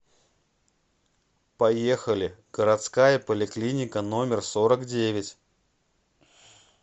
поехали городская поликлиника номер сорок девять